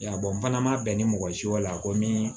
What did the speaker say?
Ya n fana ma bɛn ni mɔgɔ si ye la ko min